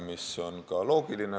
See on ka loogiline.